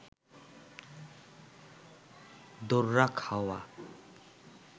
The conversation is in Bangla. দোররা খাওয়া